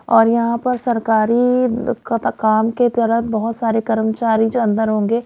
और यहां पर सरकारी काम के तरह बहुत सारे कर्मचारी जो अंदर होंगे--